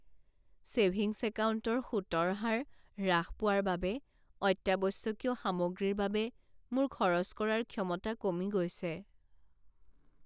savings একাউণ্টৰ সুতৰ হাৰ হ্ৰাস পোৱাৰ বাবে অত্যাৱশ্যকীয় সামগ্ৰীৰ বাবে মোৰ খৰচ কৰাৰ ক্ষমতা কমি গৈছে